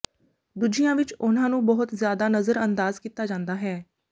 ਦੂਜਿਆਂ ਵਿਚ ਉਹਨਾਂ ਨੂੰ ਬਹੁਤ ਜ਼ਿਆਦਾ ਨਜ਼ਰਅੰਦਾਜ਼ ਕੀਤਾ ਜਾਂਦਾ ਹੈ